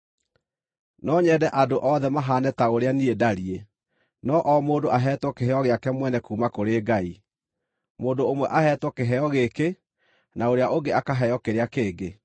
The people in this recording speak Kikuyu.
No nyende andũ othe mahaane ta ũrĩa niĩ ndariĩ. No o mũndũ aheetwo kĩheo gĩake mwene kuuma kũrĩ Ngai; mũndũ ũmwe aheetwo kĩheo gĩkĩ, na ũrĩa ũngĩ akaheo kĩrĩa kĩngĩ.